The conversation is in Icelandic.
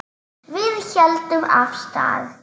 Við héldum af stað.